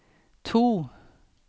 to